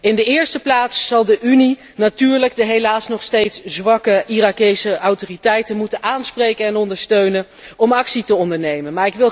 In de eerste plaats zal de Unie natuurlijk de helaas nog steeds zwakke Iraakse autoriteiten moeten aanspreken en ondersteunen om actie te ondernemen.